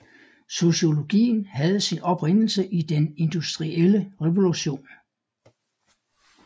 Sociologien havde sin oprindelse i den industrielle revolution